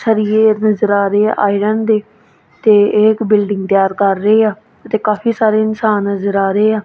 ਸਰੀਏ ਨਜ਼ਰ ਆ ਰਹੇ ਹੈ ਆਇਰਨ ਦੇ ਤੇ ਇਕ ਬਿਲਡਿੰਗ ਤਿਆਰ ਕਰ ਰਹੇ ਆ ਤੇ ਕਾਫੀ ਸਾਰੇ ਇਨਸਾਨ ਨਜ਼ਰ ਆ ਰਹੇ ਆ।